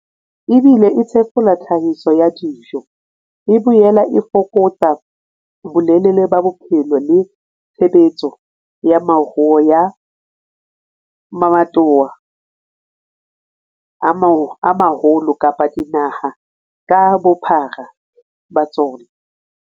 Ebile e thefula tlhahiso ya dijo, e boela e fokotsa bolelele ba bophelo le tshebetso ya moruo ya mabatowa a maholo kapa dinaha ka bophara ba tsona.